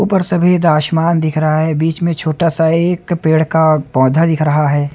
ऊपर सफ़ेद आसमान दिख रहा है बीच में छोटा सा एक पेड़ का पौधा दिख रहा है।